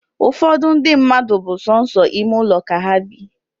Ụfọdụ ndi mmadụ bu sọsọ ime ụlọ ka ha bị